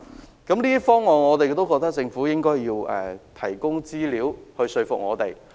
就這些方案，政府應提供資料來說服我們。